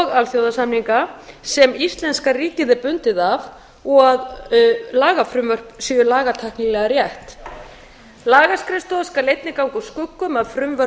alþjóðasamninga sem íslenska ríkið er bundið af og að lagafrumvörp séu lagatæknilega rétt lagaskrifstofa skal einnig ganga úr skugga um að frumvörp